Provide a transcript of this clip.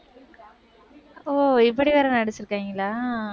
ஓ இப்படி வேற நடிச்சிருக்காங்களா?